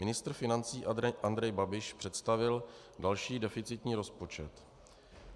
Ministr financí Andrej Babiš představil další deficitní rozpočet.